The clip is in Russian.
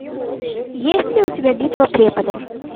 есть ли у тебя битва преподов